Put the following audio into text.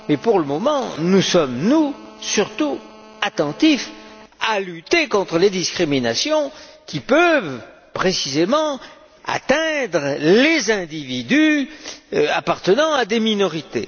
Mais, pour le moment, nous sommes, nous, surtout attentifs à lutter contre les discriminations qui peuvent précisément atteindre les individus appartenant à des minorités.